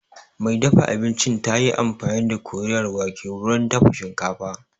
Mai dafa abincin tayi amfani da Koriyar wake wurin dafa shinkafa